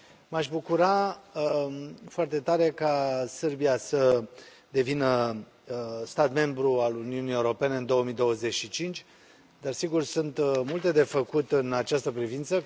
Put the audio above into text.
M aș bucura foarte tare ca Serbia să devină stat membru al Uniunii Europene în 2025, dar, sigur, sunt multe de făcut în această privință.